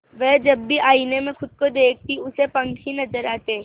वह जब भी आईने में खुद को देखती उसे पंख ही नजर आते